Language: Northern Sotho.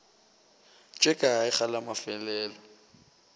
tše kae ge la mafelelo